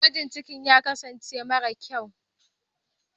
gwajin ciki ya kasance mara kyau